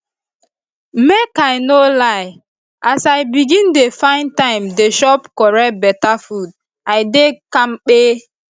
make i no lie as i begin dey find time dey chop correct beta food i dey kampe